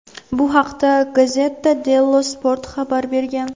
Bu haqda "Gazzetta Dello Sport" xabar bergan.